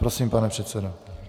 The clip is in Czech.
Prosím, pane předsedo.